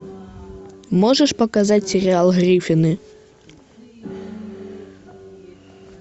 можешь показать сериал гриффины